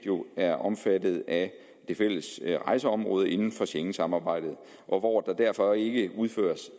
er omfattet af det fælles rejseområde inden for schengensamarbejdet og hvor der derfor ikke udføres